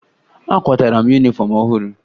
Akwatara m yunifọm ọhụrụ